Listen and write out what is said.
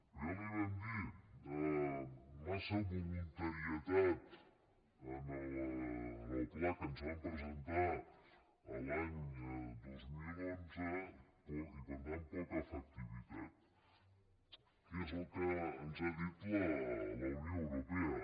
però ja li ho vam dir massa voluntarietat en el pla que ens van presentar l’any dos mil onze i per tant poca efectivitat que és el que ens ha dit la unió europea